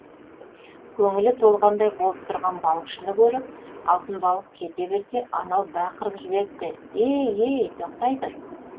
көңілі толғандай болып тұрған балықшыны көріп алтын балық кете берсе анау бақырып жіберіпті ей ей тоқтай тұр